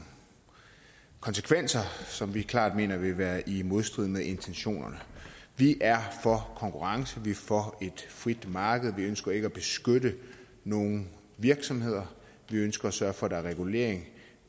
konsekvenser som vi klart mener vil være i modstrid med intentionerne vi er for konkurrence vi er for et frit marked vi ønsker ikke at beskytte nogen virksomheder vi ønsker at sørge for at der er regulering